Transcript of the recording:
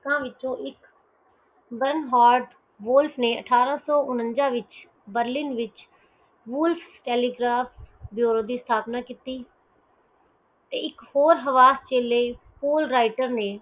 ਅਠਾਰਾਂ ਸੋ ਉਨਿਨਜਾ ਵਿਚ ਬਰ੍ਲਿਨ ਵਿਚ telegraph ਜਦੋਂ ਦੀ ਸਥਾਪਨਾ ਕਿੱਤੀ ਤੇ ਇਕ ਹੋਰ ਹਵਾਸਦੇ ਲਈ